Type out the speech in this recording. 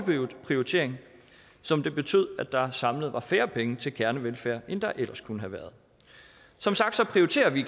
prioritering som betød at der samlet var færre penge til kernevelfærd end der ellers kunne have været som sagt prioriterer vi